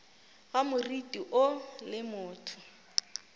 ga moriti woo le motho